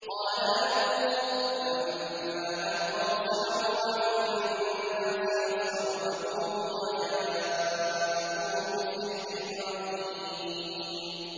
قَالَ أَلْقُوا ۖ فَلَمَّا أَلْقَوْا سَحَرُوا أَعْيُنَ النَّاسِ وَاسْتَرْهَبُوهُمْ وَجَاءُوا بِسِحْرٍ عَظِيمٍ